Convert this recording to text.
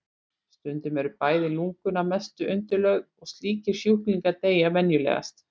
Stundum eru bæði lungun að mestu undirlögð og slíkir sjúklingar deyja venjulegast.